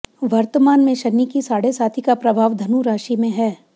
वर्तमान में शनि की साढ़ेसाती का प्रभाव धनु राशि में है